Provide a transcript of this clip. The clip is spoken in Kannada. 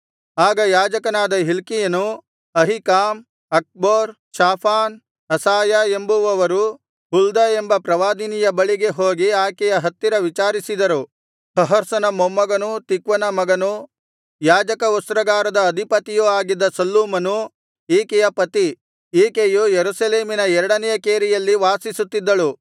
ಆಗ ಯಾಜಕನಾದ ಹಿಲ್ಕೀಯನು ಅಹೀಕಾಮ್ ಅಕ್ಬೋರ್ ಶಾಫಾನ್ ಅಸಾಯ ಎಂಬುವವರು ಹುಲ್ದ ಎಂಬ ಪ್ರವಾದಿನಿಯ ಬಳಿಗೆ ಹೋಗಿ ಆಕೆಯ ಹತ್ತಿರ ವಿಚಾರಿಸಿದರು ಹರ್ಹಸನ ಮೊಮ್ಮಗನೂ ತಿಕ್ವನ ಮಗನೂ ಯಾಜಕವಸ್ತ್ರಾಗಾರದ ಅಧಿಪತಿಯೂ ಆಗಿದ್ದ ಶಲ್ಲೂಮನು ಈಕೆಯ ಪತಿ ಈಕೆಯು ಯೆರೂಸಲೇಮಿನ ಎರಡನೆಯ ಕೇರಿಯಲ್ಲಿ ವಾಸಿಸುತ್ತಿದ್ದಳು